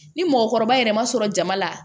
Ni mɔgɔkɔrɔba yɛrɛ ma sɔrɔ jama la